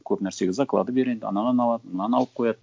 көп нәрсеге заклады береді анаған алады мынаны алып қояды